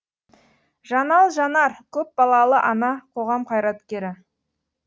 жанал жанар көпбалалы ана қоғам қайраткері